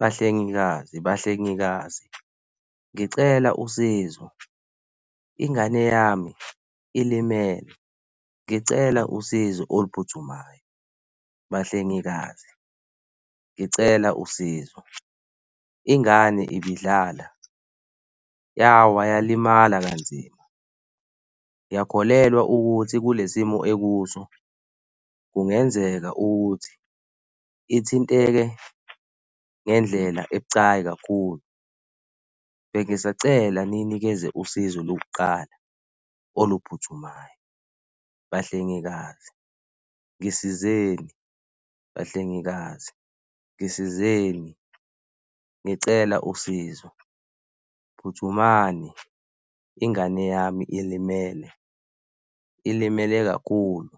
Bahlengikazi, bahlengikazi ngicela usizo, ingane yami ilimele. Ngicela usizo oluphuthumayo. Bahlengikazi ngicela usizo. Ingane ibidlala, yawa yalimala kanzima. Ngiyakholelwa ukuthi kule simo ekuso kungenzeka ukuthi ithinteke ngendlela ebucayi kakhulu. Bengisacela niyinikeze usizo lokuqala oluphuthumayo. Bahlengikazi ngisizeni, bahlengikazi ngisizeni, ngicela usizo. Phuthumani, ingane yami ilimele, ilimele kakhulu.